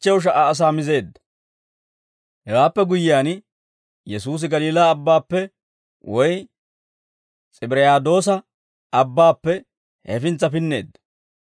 Hewaappe guyyiyaan, Yesuusi Galiilaa Abbaappe woy S'ibiriyaadoosa Abbaappe hefintsa pinneedda.